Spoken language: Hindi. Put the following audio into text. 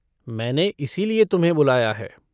मैंने इसीलिए तुम्हें बुलाया है।